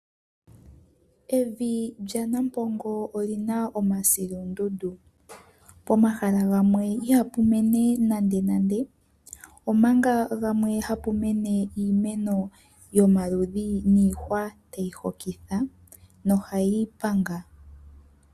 Evi lyanampongo oli na omasilundundu. Pomahala gamwe ihapu mene nandenande omanga pugamwe hapu mene omaludhi giihwa tayi hokitha nohayi panga.